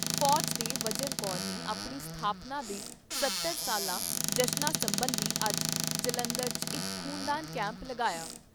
ਫੌਜ ਦੇ ਵਜਰ ਕੋਰ ਨੇ ਆਪਣੀ ਸਥਾਪਨਾ ਦੇ ਸੱਤਰ ਸਾਲਾ ਜਸ਼ਨਾਂ ਸਬੰਧੀ ਅੱਜ ਜਲੰਧਰ 'ਚ ਇਕ ਖ਼ੂਨਦਾਨ ਕੈਂਪ ਲਗਾਇਆ।